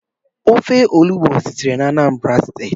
Ofe olubo sitere na steeti Anambra